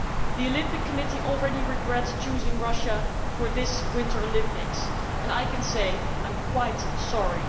The Olympic Committee already regrets choosing Russia for this Winter Olympics, and I can say I too am quite sorry.